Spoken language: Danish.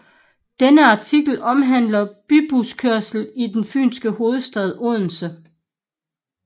Denne artikel omhandler bybuskørslen i den Fynske hovedstad Odense